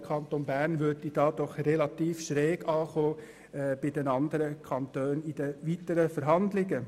Der Kanton Bern würde dadurch in den weiteren Verhandlungen bei den anderen Kantonen relativ schräg ankommen.